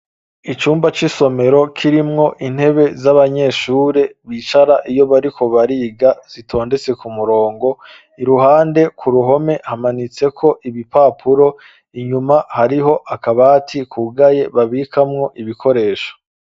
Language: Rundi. Icumba c'isomero kirimwo intebe z'abanyeshuri bicarako iyo bariko bariga, zitondetse k'umurongo. Iruhande k'uruhome, hamanitseko ibipapuro, inyuma, hariho akabati kugaye babikamwo ibikoresho.